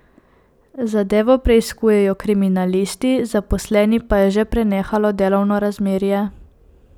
Zadevo preiskujejo kriminalisti, zaposleni pa je že prenehalo delovno razmerje.